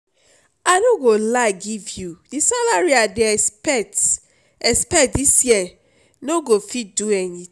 i no go lie give you the salary i dey expect expect dis year no go fit do any